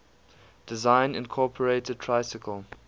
design incorporated tricycle